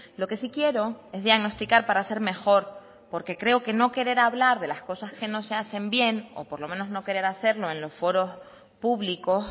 lo que sí quiero es diagnosticar para ser mejor porque creo que no querer hablar de las cosas que no se hacen bien o por lo menos no querer hacerlo en los foros públicos